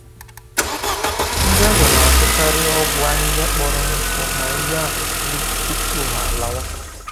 Ndị ọbịa na-azụkaarị ọgwụ ahịhịa kpọrọ nkụ ma ihe akụkụ ubi tupu ha alawa